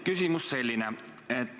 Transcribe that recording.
Küsimus on selline.